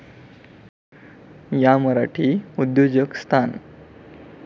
या मराठी उद्योजक स्थान.